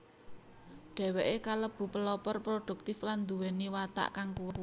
Dheweke kalebu pelopor produktif lan nduweni watak kang kuwat